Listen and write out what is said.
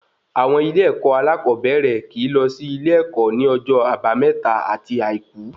Àwọn ilé ẹkọ alakoobere kíì lọ sí ilé-èkó ní ọjọ àbámẹ́ta ati àìkú